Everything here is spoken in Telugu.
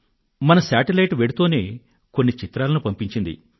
మన శాటిలైట్ వెళ్తూనే కొన్ని చిత్రాలను పంపించింది